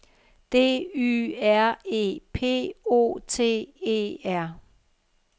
D Y R E P O T E R